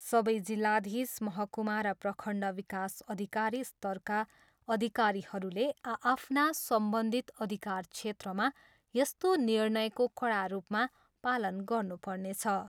सबै जिल्लाधीश, महकुमा र प्रखण्ड विकास अधिकारी स्तरका अधिकारीहरूले आआफ्ना सम्बन्धित अधिकार क्षेत्रमा यस्तो निर्णयको कडा रूपमा पालन गर्नुपर्नेछ।